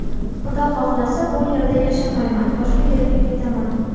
Xudo xohlasa bu yerda yashamayman, boshqa yerga ketaman.